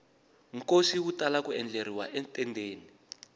nkosi wu tala ku endleriwa etendeni